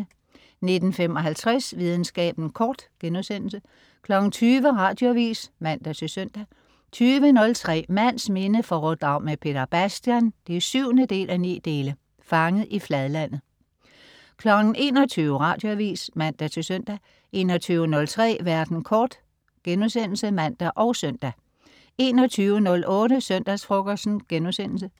19.55 Videnskaben kort* 20.00 Radioavis (man-søn) 20.03 Mands minde foredrag med Peter Bastian 7:9. Fanget i fladlandet 21.00 Radioavis (man-søn) 21.03 Verden kort* (man og søn) 21.08 Søndagsfrokosten*